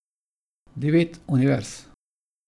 Devet univerz.